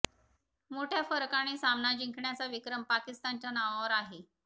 मोठ्या फरकाने सामना जिंकण्याचा विक्रम पाकिस्तानच्या नावावर आहे